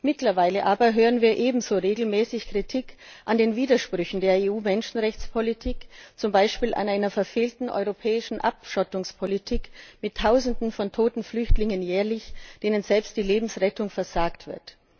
Mittlerweile aber hören wir ebenso regelmäßig Kritik an den Widersprüchen der EU Menschenrechtspolitik, zum Beispiel an einer verfehlten europäischen Abschottungspolitik mit jährlich Tausenden von Flüchtlingen, denen selbst die Lebensrettung versagt wird.